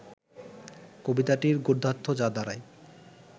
কবিতাটির গদ্যার্থ যা দাঁড়ায়